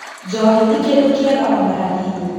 Njohi ti kĩndũ kĩega ona hanini